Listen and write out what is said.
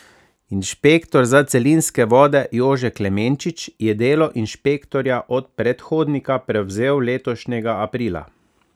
Inšpektor za celinske vode Jože Klemenčič je delo inšpektorja od predhodnika prevzel letošnjega aprila.